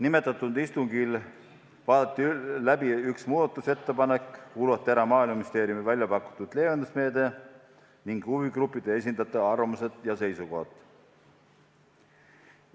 Sellel istungil vaadati läbi üks muudatusettepanek, kuulati ära Maaeluministeeriumi välja pakutud leevendusmeede ning huvigruppide esindajate arvamused ja seisukohad.